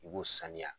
I b'u sanuya